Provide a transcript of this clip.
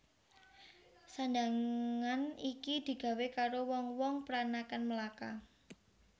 Sandhangan iki digawé karo wong wong pranakan Melaka